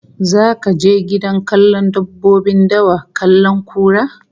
Zaka je gidan kallon dabbobin dawa kallon kura?